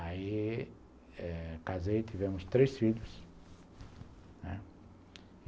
Aí, eh casei, tivemos três filhos, né.